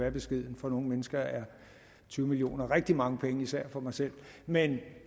er beskedent for nogle mennesker er tyve million kroner rigtig mange penge især for mig selv men